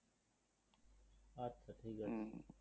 আচ্ছা ঠিক আছে